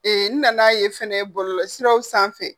Ee n nana ye fɛnɛ bɔlɔlɔ siraw sanfɛ.